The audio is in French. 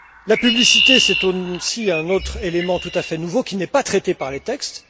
La publicité, c'est aussi un autre élément tout à fait nouveau, qui n'est pas traité par les textes.